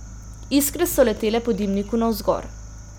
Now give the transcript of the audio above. Iskre so letele po dimniku navzgor.